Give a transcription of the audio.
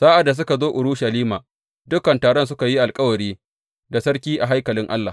Sa’ad da suka zo Urushalima, dukan taron suka yi alkawari da sarki a haikalin Allah.